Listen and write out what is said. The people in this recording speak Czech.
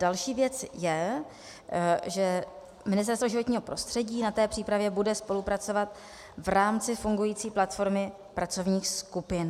Další věc je, že Ministerstvo životního prostředí na té přípravě bude spolupracovat v rámci fungující platformy pracovních skupin.